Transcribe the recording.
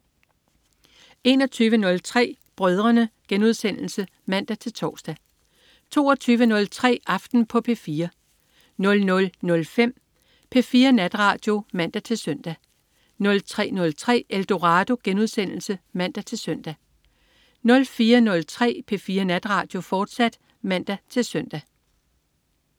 21.03 Brødrene* (man-tors) 22.03 Aften på P4 00.05 P4 Natradio (man-søn) 03.03 Eldorado* (man-søn) 04.03 P4 Natradio, fortsat (man-søn)